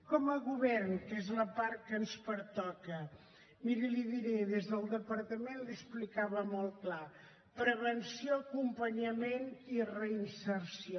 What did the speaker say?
com a govern que és la part que ens pertoca miri li ho diré des del departament li ho explicava molt clar prevenció acompanyament i reinserció